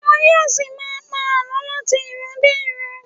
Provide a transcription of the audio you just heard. Wọn yóò ṣì máa pa àlọ láti ìran dé ìran.